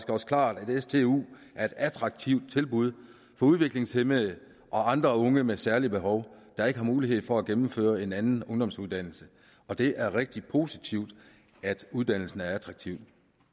også klart at stu er et attraktivt tilbud for udviklingshæmmede og andre unge med særlige behov der ikke har mulighed for at gennemføre en anden ungdomsuddannelse og det er rigtig positivt at uddannelsen er attraktiv